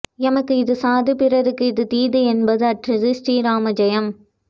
எமக்கு இது சாது பிறர்க்கு இது தீது என்பது அற்றது ஸ்ரீ ராமஜயம்